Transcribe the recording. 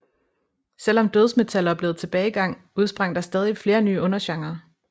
Selvom dødsmetal oplevede tilbagegang udsprang der stadig flere nye undergenrer